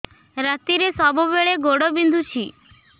ରାତିରେ ସବୁବେଳେ ଗୋଡ ବିନ୍ଧୁଛି